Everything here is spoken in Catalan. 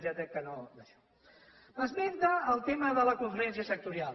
m’esmenta el tema de la conferència sectorial